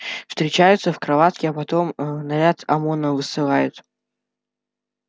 встречаются в кроватке а потом наряд омона высылают